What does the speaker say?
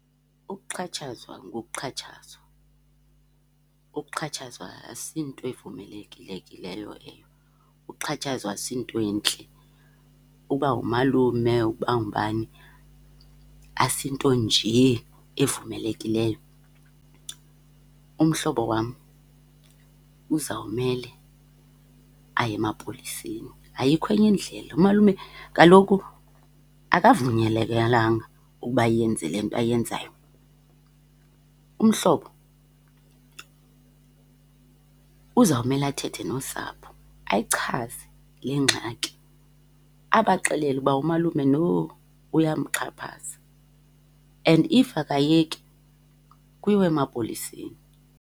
Ukuxhatshazwa ngukuxhatshazwa, ukuxhatshazwa asinto evumelekileyo leyo, ukuxhatshazwa asinto entle. Uba umalume, uba ngubani, asinto njee evumelekileyo. Umhlobo wam uzawumele aye emapoliseni, ayikho enye indlela. Umalume kaloku uba ayenze le nto ayenzayo. Umhlobo uzawumela athethe nosapho ayichaze le ngxaki abaxelele ukuba umalume no uyamxhaphaza and if akayeki kuyiwe emapoliseni